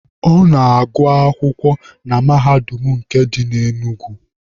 Ọ na-agụ akwụkwọ na Mahadum nke dị na Enugu.